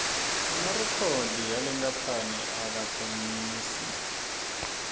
emarikhodi yale kamphani akatsengisi